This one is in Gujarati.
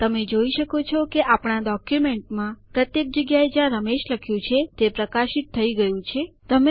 તમે જોઈ શકો છો કે આપણા ડોક્યુમેન્ટમાં પ્રત્યેક જગ્યાએ જ્યાં રમેશ લખ્યું છે તે હાઈલાઈટેડ પ્રકાશ વડે ચીન્હાંકિત થઇ ગયું છે